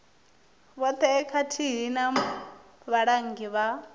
vhoṱhe khathihi na vhalanguli vha